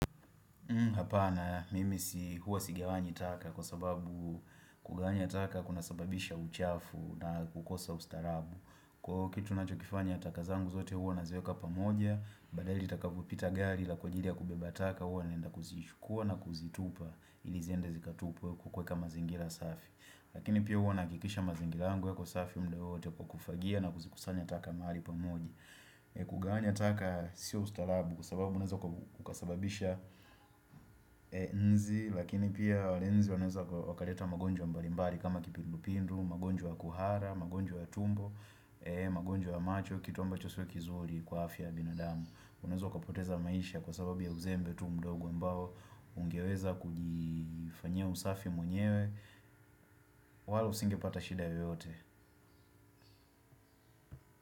Hapana mimi si huwa sigawanyani taka kwa sababu kuganya taka kuna sababisha uchafu na kukosa ustarabu Kwa kitu nachokifanya taka zangu zote huwa naziweka pamoja badaae ili litakapopita gari la kuajiri ya kubeba taka huwa naenda kuzishukua na kuzitupa ili ziende zikatupwe huku kuweka mazingira safi Lakini pia huwa nahakikisha mazingira yangu yako safi mda wowote kwa kufagia na kuzikusanya taka mahali pamoja kugaanya taka siyo ustalabu kwa sababu unaeza kukasababisha nzi lakini pia wale inzi wanaeza wakareta magonjwa mbalimbali kama kipindupindu, magonjwa ya kuhara, magonjwa tumbo magonjwa ya macho, kitomba chisiwe kizuri kwa afya ya binadamu unaeza ukapoteza maisha kwa sababu ya uzembe tu mdogo ambao ungeweza kujifanyia usafi mwenyewe walo usingepata shida yoyote.